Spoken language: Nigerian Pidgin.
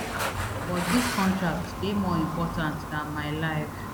but dis contract dey more important dan my life